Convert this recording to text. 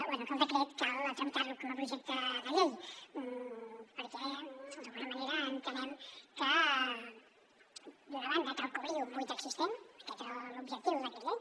bé que el decret cal tramitar lo com a projecte de llei perquè d’alguna manera entenem que d’una banda cal cobrir un buit existent aquest era l’objectiu del decret llei